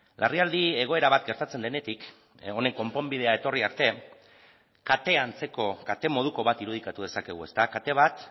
larrialdi egoera bat gertatzen denetik honen konponbidea etorri arte kate antzeko kate moduko bat irudikatu dezakegu ezta kate bat